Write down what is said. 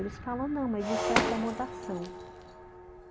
Eles falam, ''não, mas isso é acomodação.''